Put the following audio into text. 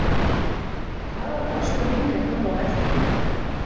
Og hvað, varstu lengi að horfa á eldinn?